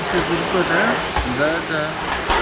это группа да да да